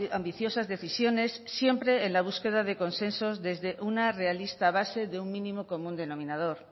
ambiciosas decisiones siempre en la búsqueda de consensos desde una realista base de un mínimo común denominador